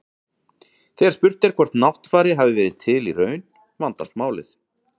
Þegar spurt er hvort Náttfari hafi verið til í raun, vandast málið.